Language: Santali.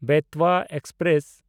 ᱵᱮᱛᱣᱟ ᱮᱠᱥᱯᱨᱮᱥ